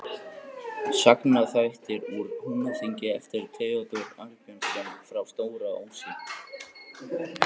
Sérðu ekki að ég er ósofin á túr.